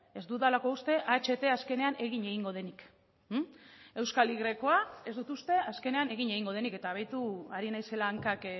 ez dudalako uste aht azkenean egin egingo denik euskal y ez dut uste azkenean egin egingo denik eta beitu ari naizela hankak